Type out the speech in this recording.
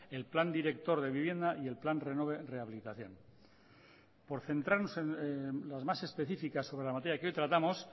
el plan director de vivienda y el plan renove rehabilitación por centrarnos en las más específicas sobre la materia que hoy tratamos